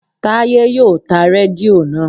Táyé yóò ta rédíò naa